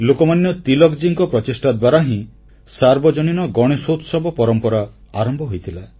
ଲୋକମାନ୍ୟ ତୀଳକଜୀଙ୍କ ପ୍ରଚେଷ୍ଟା ଦ୍ୱାରା ହିଁ ସାର୍ବଜନୀନ ଗଣେଶୋତ୍ସବ ପରମ୍ପରା ଆରମ୍ଭ ହୋଇଥିଲା